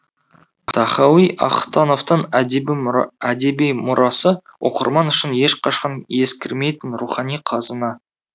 тахауи ахтановтың әдеби мұрасы оқырман үшін ешқашан ескірмейтін рухани қазына